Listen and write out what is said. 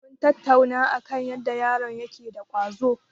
Mun tattauna akan yadda yaron yake da ƙwazo.